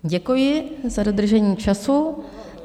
Děkuji za dodržení času.